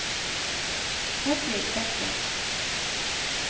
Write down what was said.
Hedvig Bekken